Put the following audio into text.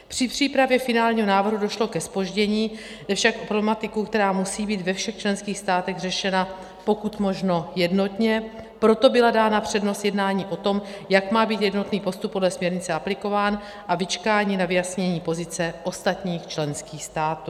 Při přípravě finálního návrhu došlo ke zpoždění, jde však o problematiku, která musí být ve všech členských státech řešena pokud možno jednotně, proto byla dána přednost jednání o tom, jak má být jednotný postup podle směrnice aplikován, a vyčkání na vyjasnění pozice ostatních členských států.